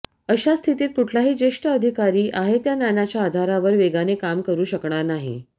अशा स्थितीत कुठलाही ज्येष्ठ अधिकारी आहे त्या ज्ञानाच्या आधारावर वेगाने काम करू शकणार नाही